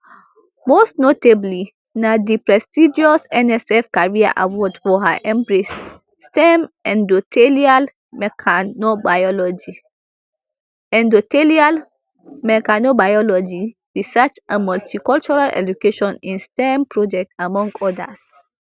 most notably na di prestigious nsf career award for her embrace stem endothelial mechanobiology endothelial mechanobiology research and multicultural education in stem project among odas